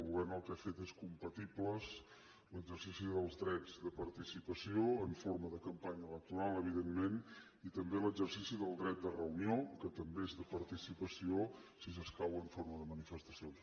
el govern el que ha fet és compatibles l’exercici dels drets de participació en forma de campanya electoral evidentment i també l’exercici del dret de reunió que també és de participació si escau en forma de manifestacions